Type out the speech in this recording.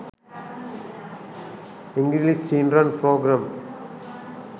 english children program